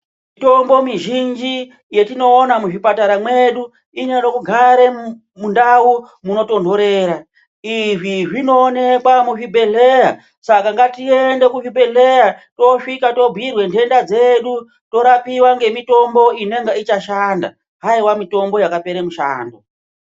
Mitombo mizhinji yetinoona muzvipatara mwedu inode kugara mundau munotonhorera. Izvi zvinoonekwa muzvibhehleya Saka ngatiende kuzvibhedhleya tosvika tobhuirwa nhenda dzedu torapiwa ngemitombo inonga ichashanda haiwa mitombo yakapera mushando.